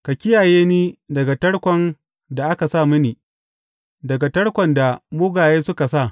Ka kiyaye ni daga tarkon da aka sa mini, daga tarkon da mugaye suka sa.